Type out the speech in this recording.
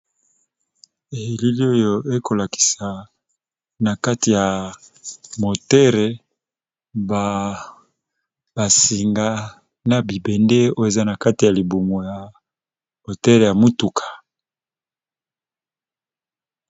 Awa ba fungoli liboso ya mutuka, Tozali bongo komona bibende nyonso esalaka te mutuka yango ekoka ko kende.